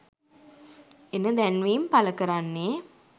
එන දැන්වීම් පළ කරන්නේ